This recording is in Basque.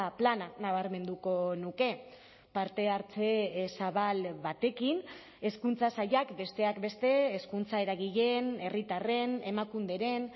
plana nabarmenduko nuke partehartze zabal batekin hezkuntza sailak besteak beste hezkuntza eragileen herritarren emakunderen